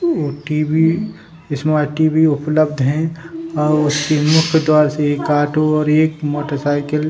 और टी.वी. इसमें टी.वी. उपलब्ध है और सिमो के द्वारा से एक ऑटो और एक मोटर साइकिल --